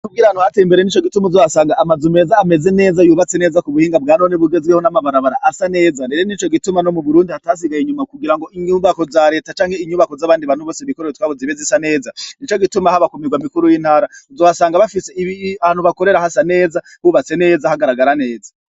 Kugira ahantu hateye imbere nico gituma uzohasanga amazu meza hameza neza amazu yubatse neza kubuhinga bwanone bugezweho n'amabarabara asa neza rero nico gituma no muburundi hatasigaye inyuma kugira ngo inyumbako za reta canke inyubako z'abandi bantu bose bikorera utwabo zibe zisa neza nico gituma abo kumirwa mikuru y'intara uzohasanga bafise ahantu bakorera hasa neza bubatse neza hagaragara neza.